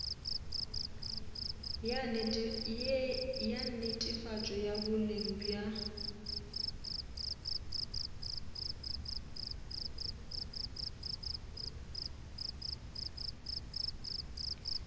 ya netefatšo ya boleng bja